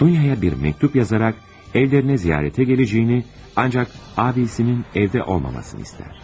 Dunyaya bir məktub yazaraq evlərinə ziyarətə gələcəyini, lakin qardaşının evdə olmamasını istəyir.